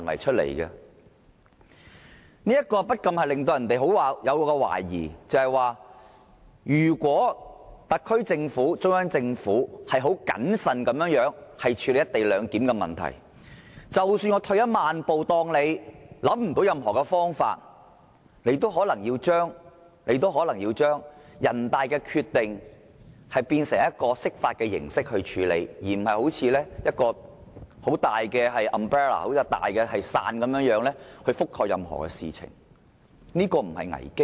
這不禁令人懷疑，即使特區政府和中央政府很審慎地處理"一地兩檢"的安排，退一萬步，假設他們想不到任何方法，可以定出一個概括的情況，最終仍可能要對人大常委會的決定以釋法形式處理，這不是危機嗎？